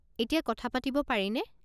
এতিয়া কথা পাতিব পাৰিনে?